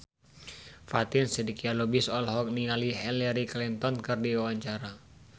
Fatin Shidqia Lubis olohok ningali Hillary Clinton keur diwawancara